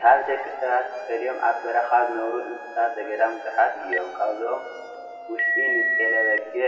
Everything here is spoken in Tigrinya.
ካብ ደቂ ሰባት ተፈልዮም ኣብ በረኻ ዝነብሩ እንስሳት ዘገዳም ብዙሓት እዮም፡፡ ካብዚኦም ውሽጢ ንጤለ በጊዕ